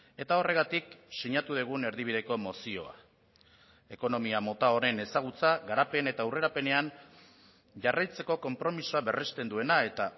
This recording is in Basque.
eta horregatik sinatu dugun erdibideko mozioa ekonomia mota honen ezagutza garapen eta aurrerapenean jarraitzeko konpromisoa berrezten duena eta